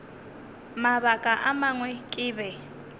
mabaka a mangwe ke be